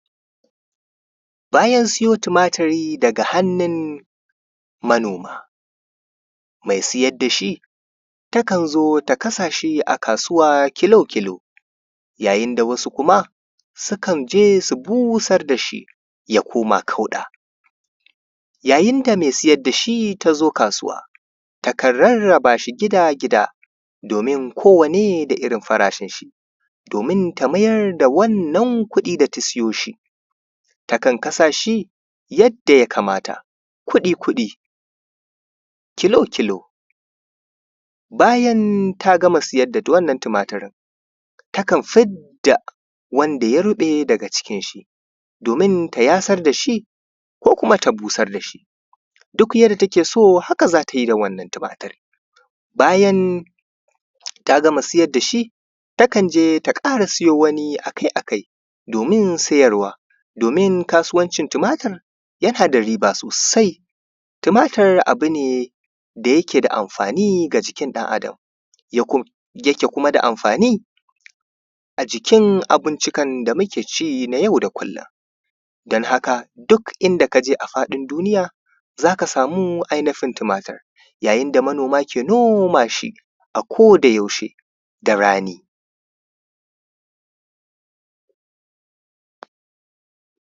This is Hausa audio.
Bayan sayo tumaturi daga hannun manoma mai sayar da shi yakan zo ya kasa shi a kasuwa kilo-kilo, yayin da wasu kuma sukan je su busar da shi, ya koma kauɗa. Yayin da mai sayar da shi ta zo kasuwa takan rarraba shi gida-gida, domin kowane da irin farashin shi, domin ta mayar da wannan kuɗi da ta sayo shi, takan kasa shi yadda jakamata, kuɗi -kuɗi, kilo-kilo. Bayan ta gama sayar da wannan tumaturin takan fid da wanda ya ruɓe daga cikin shi, domin ta yasar da shi ko kuma ta busar da shi, duk yadda take so haka za ta yi da wannan tumaturin, bayan ta gama sayar da shi, taka je ta ƙara sayo wani a kai a kai. Domain sayarwa:, domin kasuwancin tumatur yana da riba sosai. Tumaturi abu ne da yake da amfani a jikin ɗan adam, yake yake kuma da amfani a jikin abincikan da muke ci na jau da kullum. Don haka duk inda ka je a faɗin dunija za ka samu ainihin tumatur, yayin da manoma ke noma shi a kodayaushe da rani.